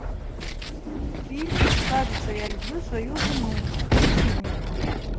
фильм кажется я люблю свою жену включи мне